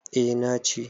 eh na ci